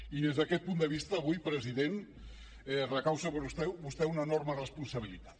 i des d’aquest punt de vista avui president recau sobre vostè una enorme responsabilitat